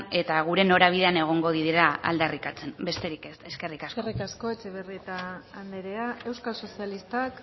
eta gure norabidean egongo direla aldarrikatzen besterik ez eskerrik asko eskerrik asko etxebarrieta andrea euskal sozialistak